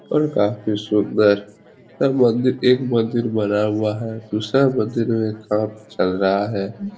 और काफी सुंदर सब मंदिर एक मंदिर बना हुआ है। दूसरा मंदिर में काम चल रहा है।